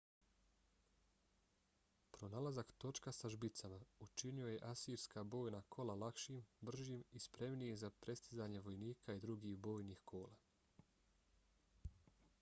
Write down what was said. pronalazak točka sa žbicama učinio je asirska bojna kola lakšim bržim i spremnijim za prestizanje vojnika i drugih bojnih kola